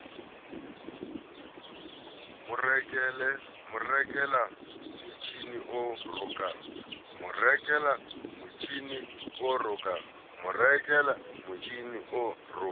mo rekela motjhini o rokang